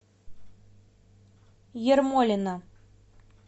ермолино